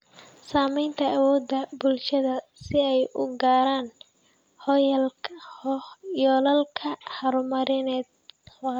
Saamaynta awoodda bulshada si ay u gaaraan yoolalka horumarineed waara.